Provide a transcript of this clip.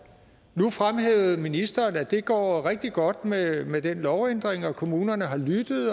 nu fremhævede ministeren at det går rigtig godt med med den lovændring og at kommunerne har lyttet